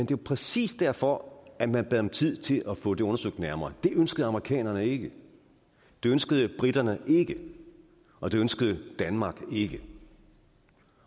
jo præcis derfor at man bad om tid til at få det undersøgt nærmere det ønskede amerikanerne ikke det ønskede briterne ikke og det ønskede danmark ikke